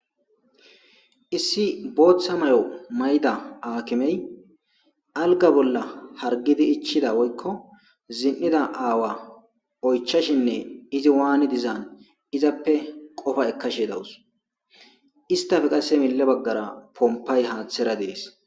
issi booththa mayo may7da aakimey alga bolla hargidi ichida woykko zin7ida aawa oychashinne izi waani dizaan izappe qofa ekkashe dawus istafe qasse mille baggara pompay haaththera dees